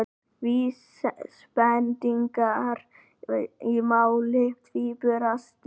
Vísbendingar í máli tvíburasystranna